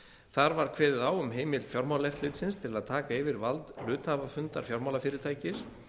þar var kveðið á um heimild fjármálaeftirlitsins til að taka yfir vald hluthafafundar fjármálafyrirtækis